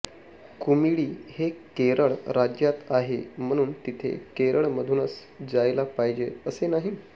कुमिळी हे केरळ राज्यात आहे म्हणून तिथे केरळमधूनच जायला पाहिजे असे नाही